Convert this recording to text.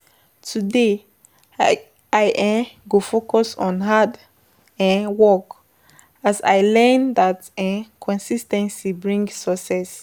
Today, I um go focus on hard um work as I learned that um consis ten cy brings success.